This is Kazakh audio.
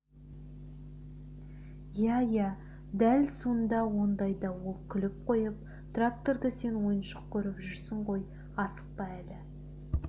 иә иә дәл сонда ондайда ол күліп қойып тракторды сен ойыншық көріп жүрсің ғой асықпа әлі